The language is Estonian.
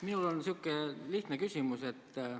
Minul on lihtne küsimus.